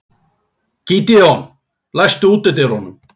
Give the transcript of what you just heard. Gídeon, læstu útidyrunum.